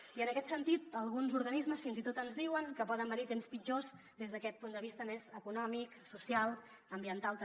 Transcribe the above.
i en aquest sentit alguns organismes fins i tot ens diuen que poden venir temps pitjors des d’aquest punt de vista més econòmic social ambiental també